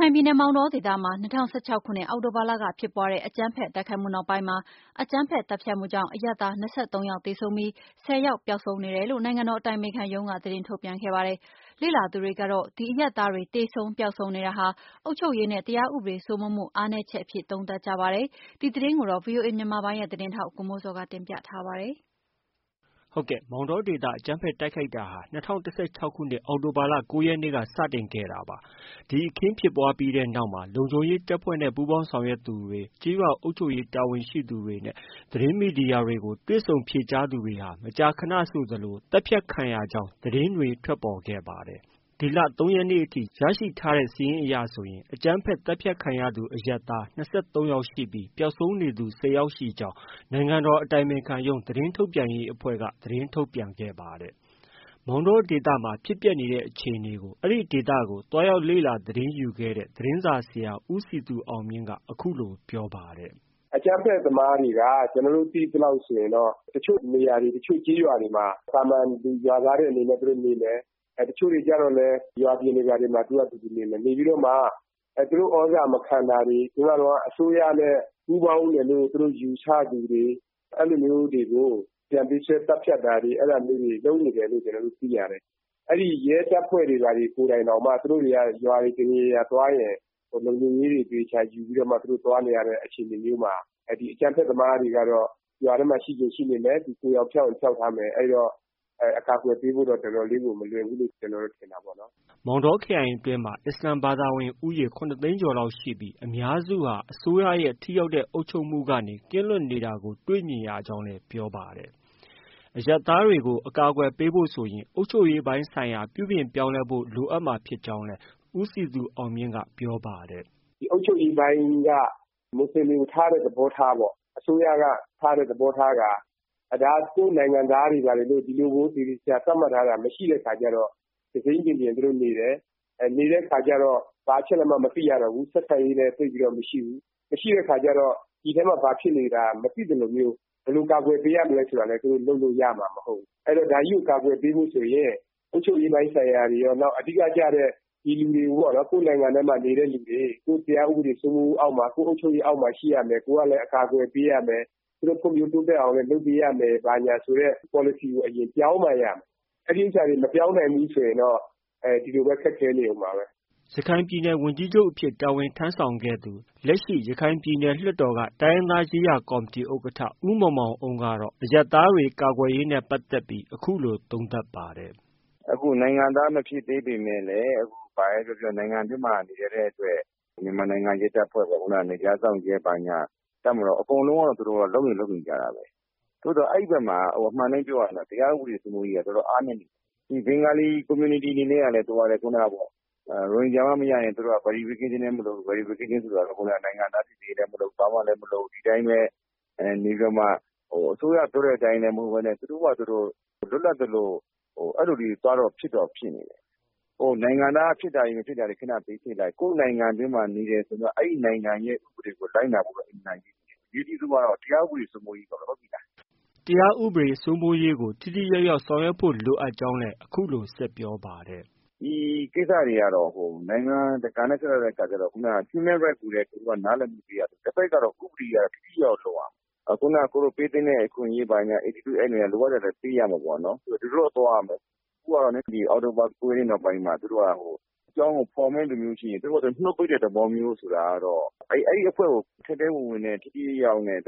ခိုင်ပြည်နယ် မောင်တောဒေသမှာ ၂၀၁၆ခုနှစ် အောက်တိုဘာလ က ဖြစ်ပွားတဲ့အကြမ်းဖက် တိုက်ခိုက်မှုနောက်ပိုင်းမှာ အကြမ်းဖက် သတ်ဖြတ်တာကြောင့် အရပ်သား ၂၃ယောက်သေဆုံးပြီး ၁၀ယောက်ပျောက်ဆုံးနေ တယ်လို့ နိုင်ငံတော် အတိုင်ပင်ခံရုံး က သတင်း ထုတ်ပြန်ခဲ့ပါတယ် ။ လေ့လာသူတွေကတော့ ဒီအရပ်သားတွေ သေဆုံးပျောက်ဆုံးနေတာဟာ အုပ်ချုပ်ရေးနဲ့ တရားဥပဒေစိုးမိုးမှုအားနည်းချက်အဖြစ်သုံးသပ်ကြပါတယ်။ ဒီသတင်းကိုတော့ ဗွီအိုအေမြန်မာပိုင်းရဲ့သတင်းထောက် ကိုမိုးဇော်က တင်ပြထားပါတယ်။ မောင်တောဒေသအကြမ်းဖက်တိုက်ခိုက်တာဟာ ၂၀၁၆ခုနှစ် အောက်တိုဘာလ ၉ရက်နေ့က စတင်ဖြစ်ပွားခဲ့တာပါ။ဒီအခင်းဖြစ်ပွားပြီးတဲ့နောက်မှာ လုံခြုံရေးတပ်ဖွဲ့နဲ့ ပူးပေါင်းဆောင်ရွက်သူ၊ ကျေးရွာအုပ်ချုပ်ရေးတာဝန်ရှိသူတွေနဲ့ သတင်းမီဒီယာတွေကို တွေ့ဆုံဖြေကြားသူတွေဟာ မကြာခနဆိုသလို သတ်ဖြတ်ခံရကြောင်း သတင်းတွေထွက်ပေါ်ခဲ့ပါတယ်။ ဒီ ၃ရက်နေ့အထိ ရရှိထားတဲ့ စာရင်းအရဆိုရင် အကြမ်းဖက်သတ်ဖြတ်ခံရသူ အရပ်သား ၂၃ယောက်ရှိပြီး ပျောက်ဆုံးနေသူ ၁၀ယောက်ရှိကြောင်း နိုင်ငံတော်အတိုင်ပင်ခံရုံး သတင်းထုတ်ပြန်ရေးအဖွဲ့က သတင်းထုတ်ပြန်ခဲ့ပါတယ်။ မောင်တောဒေသမှာ ဖြစ်ပျက်နေတဲ့အခြေအနေကို အဲဒီဒေသကို သွားရောက်လေ့လာသတင်းယူခဲ့တဲ့ သတင်းစာဆရာ ဦးစည်သူအောင်မြင့်က အခုလို ပြောပါတယ်။ “အကြမ်းဖက်သမားတွေက ကျနော်တို့သိသလောက်ဆိုရင်တော့ တချို့နေရာတွေ တချို့ကျေးရွာတွေမှာ သာမန်ရွာသားလို သူတို့နေတယ်၊ တချို့တွေကျတော့ ရွာပြင်တွေဘာတွေမှာ သူတို့ဟာသူတို့နေမယ်။ နေပြီးတော့ သူတို့ သြဇာမခံတာတွေ နောက်ပြီးတော့ အစိုးရနဲ့ ပူးပေါင်းသူလို့ ယူဆသူတွေကိုတော့ ပြန်ပေးဆွဲ သတ်ဖြတ်တာတွေ လုပ်နေတယ်လို့ ကျနော်တို့ သိရတယ်။ အဲဒီရဲတပ်ဖွဲ့တွေ သူတို့ကိုယ်တိုင်တောင်မှာ ရွာတွေဘာတွေသွားရင် လုံခြုံရေးတွေ သေသေချာချာယူပြီးတော့မှ သွားနေရတဲ့ အခြေအနေမျိုးမှာ ဒီအကြမ်းဖက်သမားတွေကတော့ ရွာထဲမှာ ရှိချင်ရှိနေမယ်၊ သူတို့ ကိုယ်ယောင်ဖျောက်ထားမယ် အဲဒီတော့ အကာအကွယ်ပေးဖို့တော့ တော်တော်လေး မလွယ်ဘူးလို့ ကျနော်တို့ ထင်တာပေါ့နော်။” မောင်တောခရိုင်အတွင်းမှာ အစ္စလာမ်ဘာသာဝင်ဦးရေ ၇သိန်းကျော်လောက်ရှိပြီး အများစုဟာ အစိုးရရဲ့ ထိရောက်တဲ့ အုပ်ချုပ်မှုကနေ ကင်းလွတ်နေ တာကို တွေ့မြင်ရကြောင်းလည်း ပြောပါတယ်။ အရပ်သားတွေကို အကာအကွယ်ပေးဖို့ဆိုရင် အုပ်ချုပ်ရေးပိုင်းဆိုင်ရာ ပြုပြင်ပြောင်းလဲ ဖို့လိုအပ်ကြောင်းလည်း ပြောပါတယ်။ “ဒီအုပ်ချုပ်ရေး ပိုင်းက မွတ်စလင်တွေကို ထားတဲ့ သဘောထားပေါ့ အစိုးရက ထားတဲ့သဘောထားက ဒါက ကိုယ့်နိုင်ငံသားတွေ ဘာတွေလို့ သေသေချာချာ သတ်မှတ်ထားတာ မရှိတဲ့အခါကျတော့ သူစိမ်းလူလိုနေတယ်။ နေတဲ့အခါကျတော့ ဘာအချက်အလက်မှ မသိရတော့ဘူး ဆက်ဆံရေးလည်း သိပ်ပြီးတော့ မရှိဘူး။ မရှိတဲ့အခါကျတော့ ဒီအထဲမှာ ဘာဖြစ်နေတာတွေမသိသလို၊ ဘယ်လို ကာကွယ်ပေးရမယ် ဆိုတာ သူတို့ လုပ်လို့ရမှာ မဟုတ်ဘူး။ ဆိုတော့ ဒါကို ကာကွယ်ပေးဖို့ဆိုရင် အုပ်ချုပ်ရေးပိုင်းဆိုင်ရာတွေရော အဓိကကျတဲ့ ဒီလူတွေကိုပေါ့နော် ၊ ကိုယ့်နိုင်ငံထဲမှာ နေတဲ့လူတွေ ၊ ကိုယ့်တရားဥပဒေ စိုးမိုးမှုအောက်မှာ ၊ ကိုယ့်အုပ်ချုပ်ရေးအောက်မှာရှိရမယ် ကိုယ်ကလည်း အကာအကွယ်ပေးရမယ်။ သူတို့ ဖွံ့ဖြိုးတိုးတက်အောင်လည်း လုပ်ပေးရမယ်ဆိုတဲ့ပေါ်လစီကို ပြောင်းမှရမယ်။ အဲဒါတွေ မပြောင်းနိုင်ဘူးဆိုရင်တော့ ဒီလိုပဲ ခက်ခဲနေမှာပါ။” ရခိုင်ပြည်နယ်ဝန်ကြီးချုပ်အဖြစ် တာဝန်ထမ်းဆောင်ခဲ့သူ လက်ရှိ ရခိုင်ပြည်နယ် လွှတ်တော်က တိုင်းရင်းသားရေးရာကော်မတီ ဥက္ကဌ ဦးမောင်မောင်အုန်းကတော့ အရပ်သားတွေ ကာကွယ်ရေးနဲ့ပတ်သက်ပြီး အခုလို သုံးသပ်ပါတယ်။ “အခုနိုင်ငံသားမဖြစ်သေးပေမယ့်လည်း ဘာပဲပြောပြော နိုင်ငံအတွင်း မှာ နေတဲ့အတွက် မြန်မာနိုင်ငံရဲ တပ်ဖွဲ့၊ နယ်ခြားစောင့်ရဲတွေ ၊ တပ်မတော် သူတို့အကုန်လုံးက လုပ်တော့လုပ်နေကြတာပဲ။ သို့သော် အဲဒီဘက်မှာ အမှန်အတိုင်းပြောရရင်တော့ တရားဥပဒေစိုးမိုးရေးက တော်တော်အားနည်းနေတယ်။ ဒီဘင်္ဂလီ အသိုင်းအဝိုင်းအနေနဲ့က ရိုဟင်ဂျာမှ မရရင် သူတို့က ဘာ verification လည်းမလိုဘူး ၊ နောက်နိုင်ငံသား စိစစ်ရေးလည်းမလုပ်ဘူး ဘာမှ လည်းမလုပ် ဒီအတိုင်းပဲ နေပြီးတော့မှ အစိုးရပြောတဲ့အတိုင်းလည်း မလုပ်ပဲနဲ့ သူတို့ဟာသူတို့ လွတ်လပ်သလိုအဲဒီလိုတွေ သွားတော့ ဖြစ်နေတယ်။ နိုင်ငံသားဖြစ်တာတွေ မဖြစ်တာတွေ ဘေးဖယ်လိုက် ၊ ကိုယ့်နိုင်ငံအတွင်းမှာ နေတယ်ဆိုရင်တော့ အဲဒီနိုင်ငံရဲ့ ဥပဒေကို လိုက်နာဖို့တော့ အင်မတန်အရေးကြီးတယ်။ အရေးအကြီးဆုံးကတော့ တရားဥပဒေစိုးမိုးရေးပေါ့နော်။” တရားဥပဒေစိုးမိုးရေးကို ထိထိရောက်ရောက်ဆောင်ရွက်ဖို့ လိုအပ်ကြောင်းလည်း အခုလို ဆက်ပြောပါတယ်။ “ဒီကိစ္စတွေကတော့ နိုင်ငံတကာနဲ့ ဆက်စပ်တဲ့အခါကျတော့ ခုနက Human Rights ဆိုတဲ့ နားလည်မှုတွေက တဖက်ကတော့ ဥပဒေက ထိထိရောက်ရောက်လုပ်ရမယ်။ ပေးသင့်တဲ့အခွင့်အရေးတွေကိုလည်း လိုအပ်တဲ့အတိုင်းပေးရမယ်ပေါ့နော် ဒီလိုတော့ သွားရမယ်ပေါ့နော်။ အခုကတော့ အောက်တိုဘာ ၉ ရက်နေ့နောက်ပိုင်းမှာ သူတို့က အကြောင်းကို ဖော်မယ့်လူရှိရင် သူတို့နှုတ်ပိတ်တဲ့ သဘောမျိုးဆိုတာက အဲဒီအဖွဲ့ကို ထဲထဲဝင်ဝင်နဲ့ ထိထိရောက်ရောက် နဲ့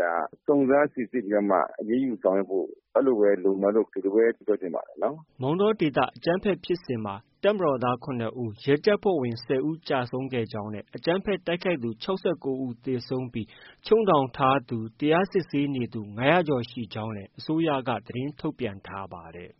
စုံစမ်းစိစစ်ပြီးတော့မှ အရေးယူဆောင်ရွက်ဖို့ အဲလိုပဲ လိုမယ်လို့ ဒီလိုပဲ ကျနော်တို့ ထင်ပါတယ်။” မောင်တောဒေသအကြမ်းဖက်ဖြစ်စဉ်မှာ တပ်မတော်သား ၇ဦး၊ ရဲတပ်ဖွဲ့ဝင် ၁၀ဦးကျဆုံးခဲ့ကြောင်းနဲ့ အကြမ်းဖက် တိုက်ခိုက်သူ ၆၉ဦးသေဆုံးပြီး ချုပ်နှောင်ထားသူ၊ တရားစစ်ဆေးနေသူ ၅၀၀ကျော်ရှိကြောင်း လည်း အစိုးရက သတင်းထုတ်ပြန်ထားပါတယ်